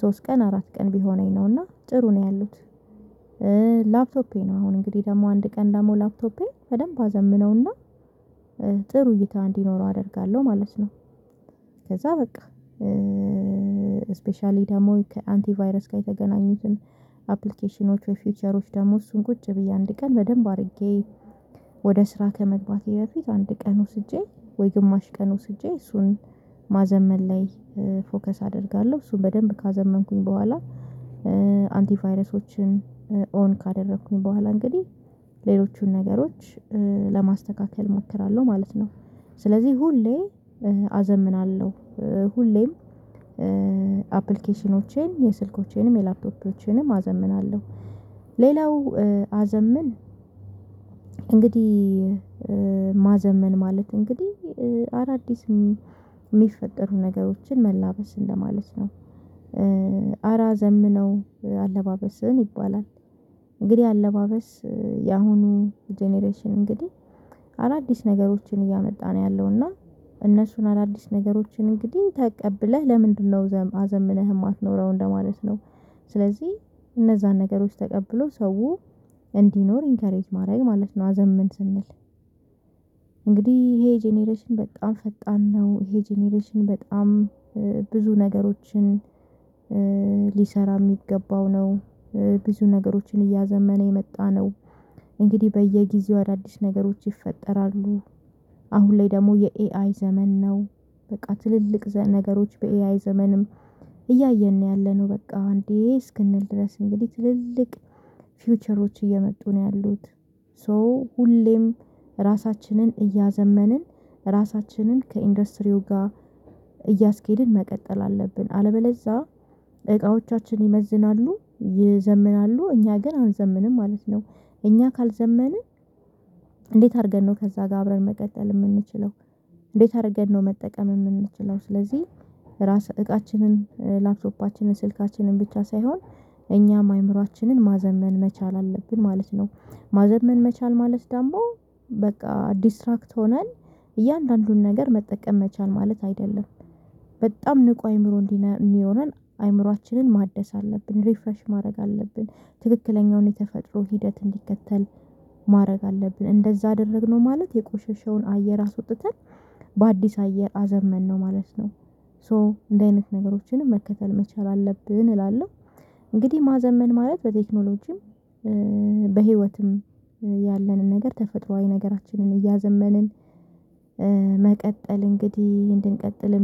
ሶስት ቀን አራት ቀን ቢሆነኝ ነው እና ጥሩ ነው ያሉት። ላፕቶፔን ነው አሁን እንግዲህ ደግሞ አንድ ቀን ደግሞ ላፕቶፔ በደንብ አዘምነውና ጥሩ እይታ እንዲኖረው አደርጋለሁ ማለት ነው። ከዛ በቃ ስፔሻሊ ደግሞ ከአንቲቫይረስ ጋር የተገናኙትን አፕሊኬሽኖች ወይ ፊውቸሮች ደግሞ እሱን ቁጭ ብዬ አንድ ቀን በደንብ አድርጌ ወደ ስራ ከመግባቴ በፊት አንድ ቀን ወስጄ ወይ ግማሽ ቀን ወስጄ እሱን ማዘመን ላይ ፎከስ አደርጋለሁ እሱን በደንብ ካዘመንኩኝ በኋላ አንቲቫይረሶችን ኦን ካደረኩኝ በኋላ እንግዲህ ሌሎቹን ነገሮች ለማስተካከል እመክራለሁ ማለት ነው። ስለዚህ ሁሌ አዘምናለሁ ሁሌም አፕሊኬሽኖቼን የስልኮቼንም የላፕቶፖቼንም አዘምናለሁ። ሌላው አዘምን እንግዲህ ማዘመን ማለት እንግዲህ አዳዲስ የሚፈጠሩ ነገሮችን መላበስ እንደ ማለት ነው ኧረ አዘምነው አለባበስህን ይባላል። እንግዲህ አለባበስ የአሁኑ ጀነሬሽን እንግዲህ አዳዲስ ነገሮችን እያመጣ ነው ያለው እነሱን አዳዲስ ነገሮችን እንግዲህ ተቀብለህ ለምንድነው አዘምነህ የማትኖረው እንደማለት ነው? ስለዚህ እነዛን ነገሮች ተቀብሎ ሰው እንዲኖር ኢንከሬጅ ማድረግ ማለት ነው። አዘምን ስንል እንግዲህ ይሄ ጄኔሬሽን በጣም ፈጣን ነው ይሄ ጀኔሬሽን በጣም ብዙ ነገሮችን ሊሰራ የሚገባው ነው ብዙ ነገሮችን እያዘመነ የመጣ ነው። እንግዲህ በየጊዜው አዳዲስ ነገሮች ይፈጠራሉ አሁን ላይ ደግሞ የኤአይ ዘመን ነው። በቃ ትልልቅ ነገሮች በኤአይ ዘመንም እያየን ነው ያለነው በቃ እንዴ እስክንል ድረስ እንግዲህ ትልልቅ ፊውቸሮች እየመጡ ነው ያሉት። ሶ ሁሌም ራሳችንን እያዘመንን ራሳችንን ከኢንዱስትሪው ጋር እያስኬድን መቀጠል አለብን አለበለዛ እቃዎቻችን ይመዝናሉ ይዘምናሉ እኛ ግን አንዘምንም ማለት ነው። እኛ ካልዘመንን እንዴት አድርገን ነው ከዛ ጋር አብረን መቀጠል የምንችለው? እንዴት አድርገን ነው መጠቀም የምንችለው ስለዚህ? ራስ እቃችንን ላፕቶፓችንን ስልካችንን ብቻ ሳይሆን እኛም አይምሮአችንን ማዘመን መቻል አለብን ማለት ነው። ማዘመን መቻል ማለት ዳሞ በቃ ዲስትራክት ሆነን እያንዳንዱን ነገር መጠቀም መቻል ማለት አይደለም። በጣም ንቁ አይምሮ እንዲኖረን አይምሮአችንን ማደስ አለብን ሪፍራሽ ማድረግ አለብን ትክክለኛውን የተፈጥሮ ሂደት እንዲከተል ማድረግ አለብን እንደዛ አደረግነው ማለት የቆሸሸውን አየር አስወጥተን በአዲስ አየር አዘመንነው ማለት ነው። ሶ እንዲ አይነት ነገሮችንም መከተል መቻል አለብን እላለሁ። እንግዲህ ማዘመን ማለት በቴክኖሎጂም በህይወትም ያለንን ነገር ተፈጥሮአዊ ነገራችንን እያዘመንን መቀጠል እንግዲህ እንድንቀጥል